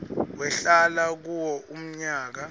wahlala kuwo umnyaka